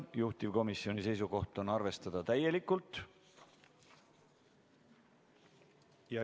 Juhtivkomisjoni seisukoht on arvestada täielikult.